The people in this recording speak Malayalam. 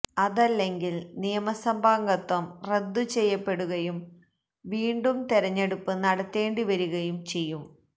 അതല്ലെങ്കിൽ നിയമസഭാംഗത്വം റദ്ദു ചെയ്യപ്പെടുകയും വീണ്ടും തെരഞ്ഞെടുപ്പ് നടത്തേണ്ടി വരികയും ചെയ്യും